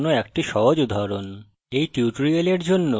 এবং java class এর একটি সহজ উদাহরণ